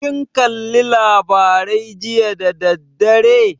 Kin kalla labarai jiya da dadaddare?